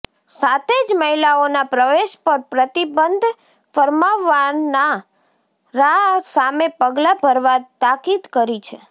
સાથે જ મહિલાઓના પ્રવેશ પર પ્રતિબંધ ફરમાવનારા સામે પગલા ભરવા તાકીદ કરી છે